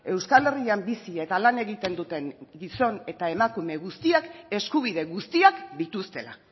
euskal herrian bizi eta lan egiten duten gizon eta emakume guztiak eskubide guztiak dituztela